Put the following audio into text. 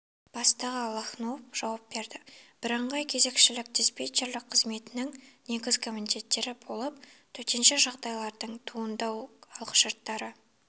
бастығы лохнов жауап берді бірыңғай кезекшілік диспетчерлік қызметінің негізгі міндеттері болып төтенше жағдайлардың туындау алғышарттары